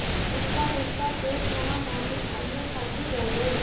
उनका गुस्सा देख वहां मौजूद अन्य साथी डर गए